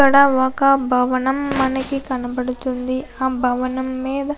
ఇక్కడ ఒక భవనం మనకి కనబడుతుంది ఆ భవనం మీద --